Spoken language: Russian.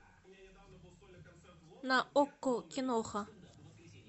на окко киноха